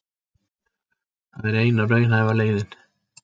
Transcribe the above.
Það er eina raunhæfa leiðin